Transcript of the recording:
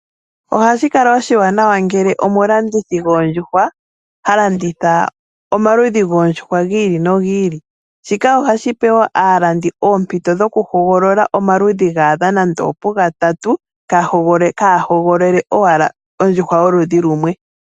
Ohashi kala oshiwanawa ngele omulandithi goondjuhwa, ha landitha omaludhi goondjuhwa gi ili nogi ili. Shika ohashi pe wo alandi oompito dhoku hogolola omaludhi ga adha nenge opugatatu, ka hogolole owala ondjuhwa yoludhi lumwe.